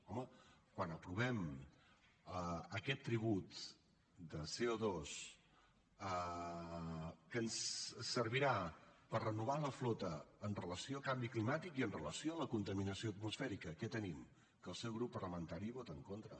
home quan aprovem aquest tribut de coservirà per renovar la flota amb relació a canvi climàtic i amb relació a la contaminació atmosfèrica què tenim que el seu grup parlamentari hi vota en contra